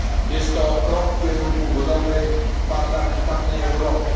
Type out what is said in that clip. Jest to krok w kierunku budowy parlamentarnej Europy.